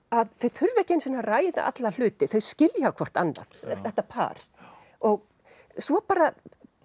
að þau þurfa ekki einu sinni að ræða alla hluti þau skilja hvort annað þetta par svo bara